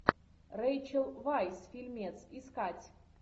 рэйчел вайс фильмец искать